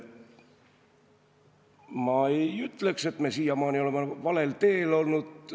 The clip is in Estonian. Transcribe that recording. Ma ei ütleks, et me oleme siiamaani olnud valel teel.